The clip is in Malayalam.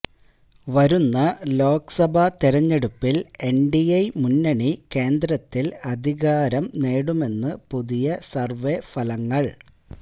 വരുന്ന ലോക്സഭാ തെരഞ്ഞെടുപ്പില് എന്ഡിഎ മുന്നണി കേന്ദ്രത്തില് അധികാരെ നേടുമെന്ന് പുതിയ സര്വേ ഫലങ്ങള്